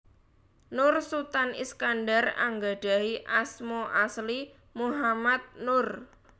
Nur Sutan Iskandar anggadhahi asma asli Muhammad Nur